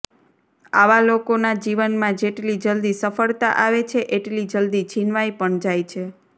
આવા લોકોના જીવનમાં જેટલી જલદી સફળતા આવે છે એટલી જલદી છીનવાઈ પણ જાય છે